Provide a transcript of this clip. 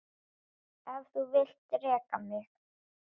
Ef þú vilt reka mig?